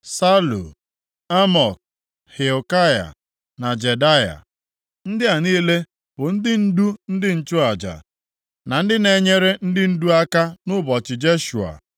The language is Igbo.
Salu, Amok, Hilkaya na Jedaya. Ndị a niile bụ ndị ndu ndị nchụaja na ndị na-enyere ndị ndụ aka nʼụbọchị Jeshua.